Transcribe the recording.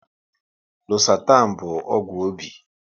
Losatan bụ ọgwụ obi